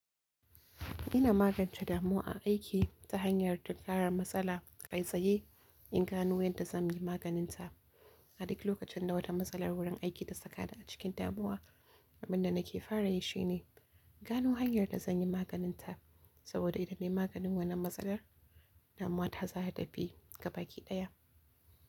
Ina magance damu aiki ta hanyar tinkaran matsala, kai tsaye in gano yadda zan yi maganinta. A duk lokacin da wata matsalar wurin aiki ta saka ni a cikin damuwa, abin da nake kawai shine gano hanyar da zan yi maganinta. Saboda idan na yi maganin wannan matsalar, damuwa ta za ta tafi ga baki ɗaya.